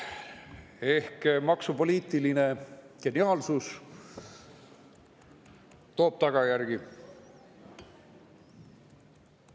Ehk maksupoliitiline geniaalsus toob tagajärgi.